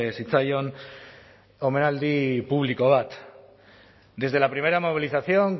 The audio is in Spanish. zitzaion omenaldi publiko bat desde la primera movilización